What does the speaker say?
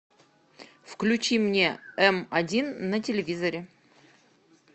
включи мне м один на телевизоре